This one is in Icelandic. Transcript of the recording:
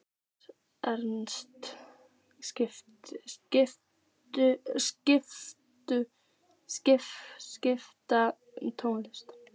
Ernst, spilaðu tónlist.